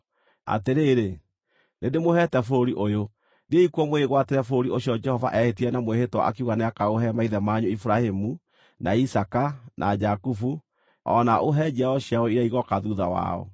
Atĩrĩrĩ, nĩndĩmũheete bũrũri ũyũ. Thiĩi kuo mwĩgwatĩre bũrũri ũcio Jehova eehĩtire na mwĩhĩtwa akiuga nĩakaũhe maithe manyu Iburahĩmu, na Isaaka, na Jakubu, o na aũhe njiaro ciao iria igooka thuutha wao.”